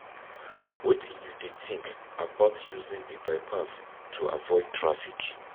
Wetin you dey think about using di bypass to avoid traffic?